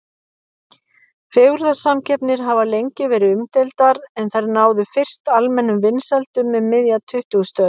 Fegurðarsamkeppnir hafa lengi verið umdeildar en þær náðu fyrst almennum vinsældum um miðja tuttugustu öld.